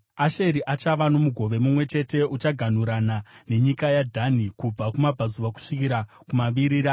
Asheri achava nomugove mumwe chete; uchaganhurana nenyika yaDhani kubva kumabvazuva kusvikira kumavirira.